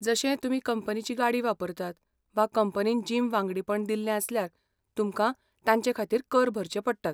जशें, तुमी कंपनीची गाडी वापरतात वा कंपनीन जिम वांगडीपण दिल्लें आसल्यार, तुमकां तांचे खातीर कर भरचे पडटात.